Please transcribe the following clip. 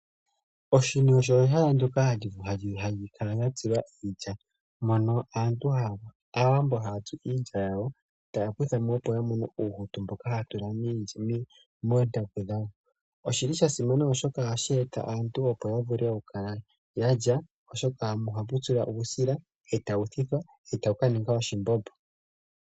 Poshini opo pehala mpoka hapu tsilwa iilya. Aantu ngele ya hompo iilya oha muzi uuhutu mboka hawu vulwu oku tulwa montaku. Oshini osha simana oshoka opo hapu tsilwa iilya aantu taya thitha yamonemo uusila woku teleka oshimbombo opo aantu. Uusila oha wu longithwa woo oku dhunga ontaku ndjono hayi nuwa.